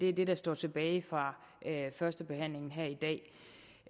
er det der står tilbage fra førstebehandlingen